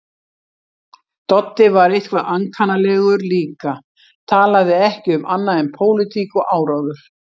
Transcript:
Doddi var eitthvað ankannalegur líka, talaði ekki um annað en pólitík og áróður.